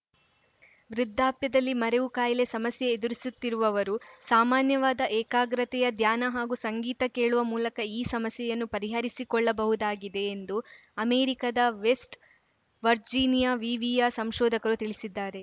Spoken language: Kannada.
ವೃದ್ಧಾಪ್ಯದಲ್ಲಿ ಮರೆವು ಕಾಯಿಲೆ ಸಮಸ್ಯೆ ಎದುರಿಸುತ್ತಿರುವವರು ಸಾಮಾನ್ಯವಾದ ಏಕಾಗ್ರತೆಯ ಧ್ಯಾನ ಹಾಗೂ ಸಂಗೀತ ಕೇಳುವ ಮೂಲಕ ಈ ಸಮಸ್ಯೆಯನ್ನು ಪರಿಹರಿಸಿಕೊಳ್ಳಬಹುದಾಗಿದೆ ಎಂದು ಅಮೆರಿಕದ ವೆಸ್ಟ್‌ ವರ್ಜಿನಿಯಾ ವಿವಿಯ ಸಂಶೋಧಕರು ತಿಳಿಸಿದ್ದಾರೆ